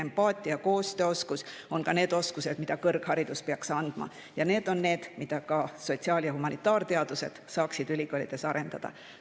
Empaatia ja koostööoskus on ka need oskused, mida kõrgharidus peaks andma ja need on need, mida ka sotsiaal- ja humanitaarteadlased saaksid ülikoolides arendada.